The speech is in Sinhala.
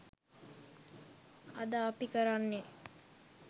අද අපි කරන්නේ